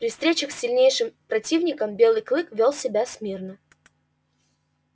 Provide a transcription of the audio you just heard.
при встречах с сильнейшим противником белый клык вёл себя смирно